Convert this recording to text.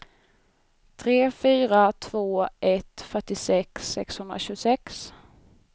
tre fyra två ett fyrtiosex sexhundratjugosex